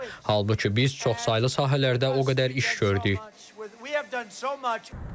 Halbuki biz çoxsaylı sahələrdə o qədər iş gördük.